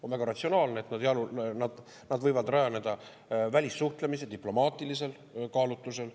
On väga ratsionaalne, et need võivad rajaneda välissuhtlemise diplomaatilisel kaalutlusel.